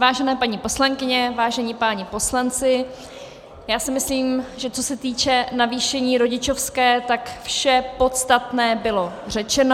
Vážené paní poslankyně, vážení páni poslanci, já si myslím, že co se týče navýšení rodičovské, tak vše podstatné bylo řečeno.